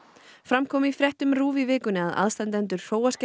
fram kom í fréttum RÚV í vikunni að aðstandendur